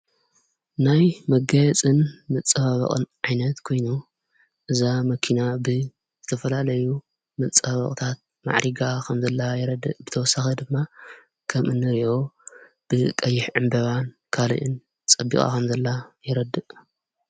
ናይ መጋይፅን ምጽባበቕን ዓይነት ኮይኑ እዛ መኪና ብ ዘተፈላለዩ ምጸባበቕታት ማዕሪጋ ኸምዘላ የረድእ ብተወሳኸ ድማ ከም እንርእኦ ብ ቀይሕ ዕምበባን ካልእን ጸቢቓ ኸም ዘላ የረድእ።